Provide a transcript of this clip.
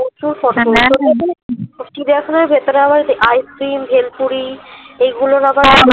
প্রচুর photo চিড়িয়াখানার ভেতরে আবার ice cream ভেলপুরি এইগুলার আবার